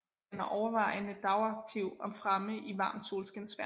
Den er overvejende dagaktiv og fremme i varmt solskinsvejr